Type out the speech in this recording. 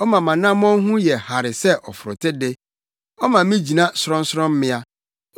Ɔma mʼanammɔn ho yɛ hare sɛ ɔforote de. Ɔma me gyina sorɔnsorɔmmea.